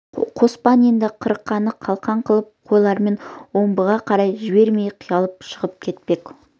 қоспан енді қырқаны қалқан қылып қойларын омбыға қарай жібермей қиялап шығып кетпек